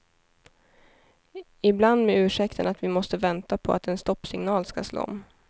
Ibland med ursäkten att vi måste vänta på att en stoppsignal ska slå om.